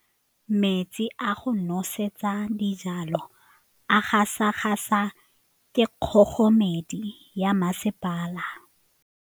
Metsi a go nosetsa dijalo a gasa gasa ke kgogomedi ya masepala.